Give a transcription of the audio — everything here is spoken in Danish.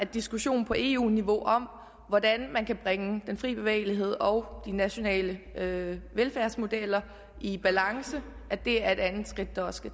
diskussion på eu niveau om hvordan man kan bringe den frie bevægelighed og de nationale velfærdsmodeller i balance er et andet skridt der også